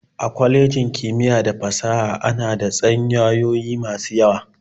A kwalejin kimiyya da fasaha ana da tsanyayoyi masu yawa.